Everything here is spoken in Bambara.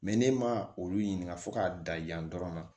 ne ma olu ɲininka fo k'a da yan yan dɔrɔn